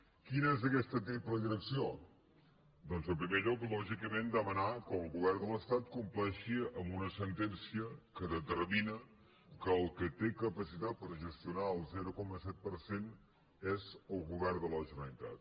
quina és aquesta triple direcció doncs en primer lloc lògicament demanar que el govern de l’estat compleixi amb una sentència que determina que el qui té capacitat per gestionar el zero coma set per cent és el govern de la gene·ralitat